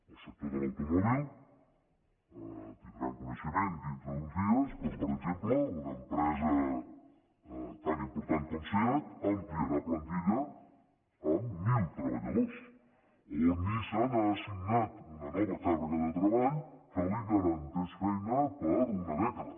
al sector de l’automòbil en tindran coneixement dintre d’uns dies com per exemple una empresa tan important com seat ampliarà plantilla amb mil treballadors o nissan ha assignat una nova càrrega de treball que li garanteix feina per una dècada